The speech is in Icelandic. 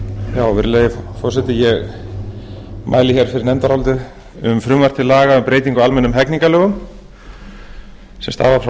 hér fyrir nefndaráliti um frumvarp til laga um breytingu á almennum hegningarlögum sem